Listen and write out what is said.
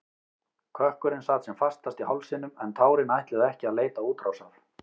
Kökkurinn sat sem fastast í hálsinum en tárin ætluðu ekki að leita útrásar.